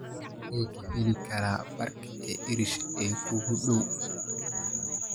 xagee ka heli karaa baarka irish ee kuugu dhow